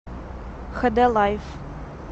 хд лайф